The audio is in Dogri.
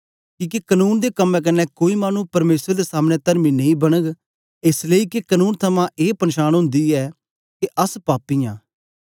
किके कनून दे कम्में क्न्ने कोई मानु परमेसर दे सामने तरमी नेई बनग एस लेई के कनून थमां ए पन्छान ओंदी ऐ के अस पापी आं